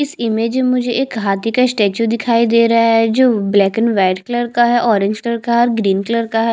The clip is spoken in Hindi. इस इमेज में मुझे एक हाथी का स्टेच्यू दिखाई दे रहा है जो ब्लैक एंड व्हाइट कलर का है ऑरेंज कलर का है और ग्रीन कलर का हैं।